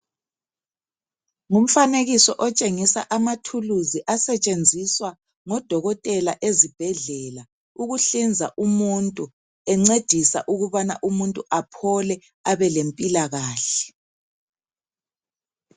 Ngumfanekiso otshengisa amathuluzi asetshenziswa ngodokotela ezibhedlela ukuhlinza umuntu encedisa ukubana umuntu aphole abelempilakahle.